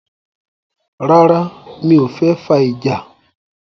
Rárá, mi o fẹ́ fà ìjà?